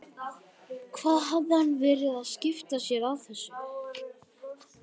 Hvað hafði hann verið að skipta sér af þessu?